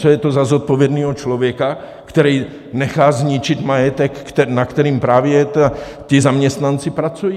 Co je to za zodpovědného člověka, který nechá zničit majetek, na kterém právě ti zaměstnanci pracují?